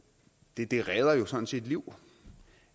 det det redder sådan set liv